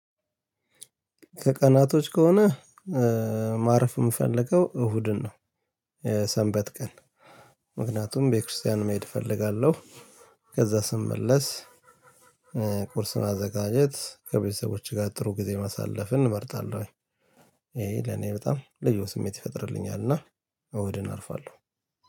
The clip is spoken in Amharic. ከቀናቶች ከሆነ ማረፍ የምፈልገው እሁድን ነው። ሰንበት ቀን ምክንያቱም ቤተክርስቲያን መሄድ እፈልጋለሁ። ከዛ ስመለስ። ቁርስ ማዘጋጀት ከቤተሰቦቼ ጋር ጥሩ ጊዜ ማሳለፍን እመርጣለሁኝ። ይሄ ለኔ በጣም ልዩ ስሜት ይፈጥርልኛል እና እሁድን አርፋለሁ።